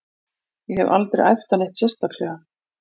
Ég hef aldrei æft það neitt sérstaklega.